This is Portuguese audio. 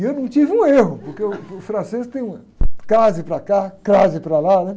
E eu não tive um erro, porque, uh, o francês tem crase para cá, crase para lá, né?